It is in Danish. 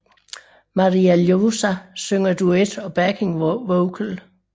Maria Ljósá synger duet og backing vocal